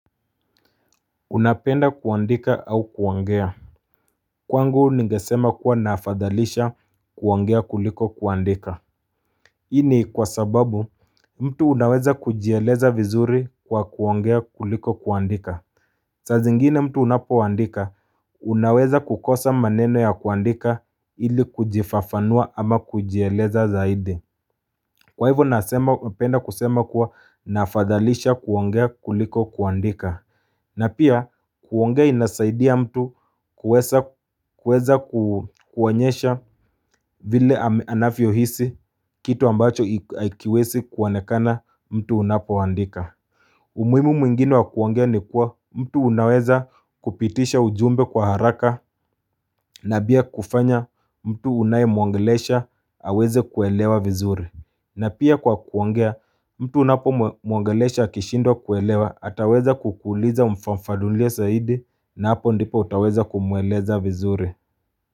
Unapenda kuwandika au kuwangea Kwangu nigesema kuwa naafadhalisha kuwangea kuliko kuwandika. Ini kwa sababu mtu unaweza kujieleza vizuri kwa kuwangea kuliko kuwandika. Sazingine mtu unapowandika unaweza kukosa maneno ya kuwandika ili kujifafanua ama kujieleza zaidi Kwa hivyo nasema upenda kusema kuwa naafadhalisha kuwangea kuliko kuwandika. Na pia kuongea inasaidia mtu kuweza kuwanyesha vile anavyo hisi kitu ambacho aikiwesi kuwanekana mtu unapo wandika. Umuimu mwingine wa kuongea ni kuwa mtu unaweza kupitisha ujumbe kwa haraka. Na bia kufanya mtu unaye muangelesha aweze kuelewa vizuri. Na pia kwa kuongea mtu unapo muangelesha kishindo kuelewa ataweza kukuuliza mfanfadulia saidi na hapo ndipo utaweza kumuweleza vizuri.